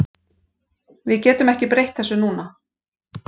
Við getum ekki breytt þessu núna.